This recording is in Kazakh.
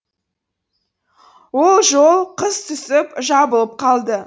ол жол қыс түсіп жабылып қалды